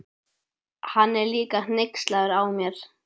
Hann er líka hneykslaður á mér.